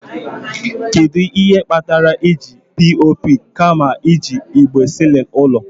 Kedu ihe kpatara eji POP kama iji igbe ceiling ụlọ?